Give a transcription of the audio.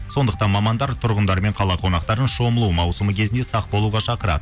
сондықтан мамандар тұрғындар мен қала қонақтарын шомылу маусымы кезінде сақ болуға шақырады